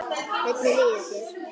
Hvernig líður þér?